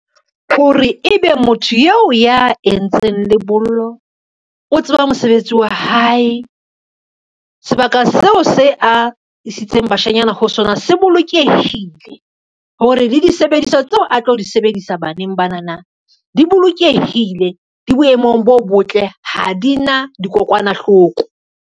Hore ebe motho yeo ya entseng lebollo o tseba mosebetsi wa hae, sebaka seo se a isitseng bashanyana ho sona se bolokehile, hore le disebediswa tseo a tlo di sebedisa baneng bana na di bolokehile, di boemong bo botle, ha di na dikokwanahloko.